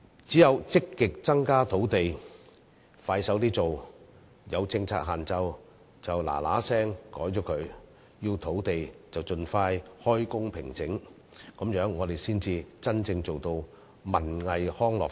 只有積極增加土地，加快落實推行，有政策限制便盡快修改，需要土地便盡快平整，這樣我們才真正做到發展文藝康樂。